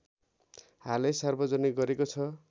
हालै सार्वजनिक गरेको छ